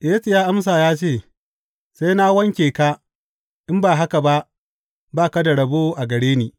Yesu ya amsa ya ce, Sai na wanke ka, in ba haka ba, ba ka da rabo a gare ni.